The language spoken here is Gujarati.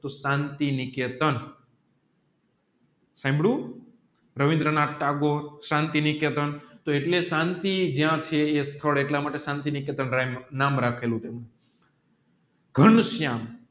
તોહ શાંતિ નિકેતન હંદુ રવીન્દ્ર નાથ ટાગોરે શાંતિ નિકેતન એટલે શાંતિ જ્યાં સ્થળે એટલે શાંતિ નિકેતન નામ રાખેલું છે ઘન શ્યામ